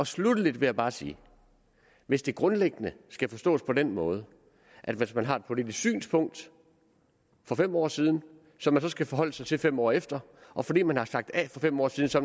sluttelig vil jeg bare sige at hvis det grundlæggende skal forstås på den måde at hvis man har et politisk synspunkt for fem år siden som man så skal forholde sig til fem år efter og fordi man har sagt a for fem år siden så